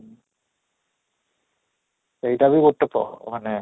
ସେଇଟା ବି ପ ମାନେ